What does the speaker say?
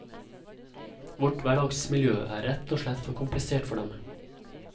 Vårt hverdagsmiljø er rett og slett for komplisert for dem.